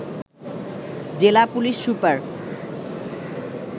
জেলা police super